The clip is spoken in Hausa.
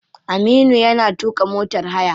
Aminu yana tuka motar haya.